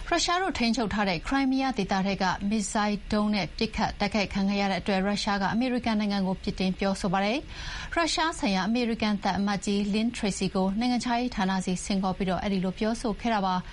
ရုရှားတို့ထိန်းချုပ်ထားတဲ့ ခရိုင်းမီးယားဒေသထဲ မစ်ဇိုင်းဒုံးနဲ့ ပစ်ခတ်တိုက်ခိုက်ခံခဲ့ရတဲ့အတွက် ရုရှားက အမေရိကန်နိုင်ငံကို ပြစ်တင်ပြောဆိုပါတယ်။ ရုရှားဆိုင်ရာ အမေရိကန် သံအမတ်ကြီး Lynne Tracy ကို နိုင်ငံခြားရေးဌာနဆီ ဆင့်ခေါ်ပြီး အဲဒီလို ပြောဆိုခဲ့တာပါ။